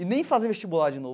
E nem fazer vestibular de novo.